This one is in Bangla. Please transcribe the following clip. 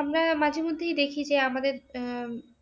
আমরা মাঝে মধ্যেই দেখি যে আমাদের আহ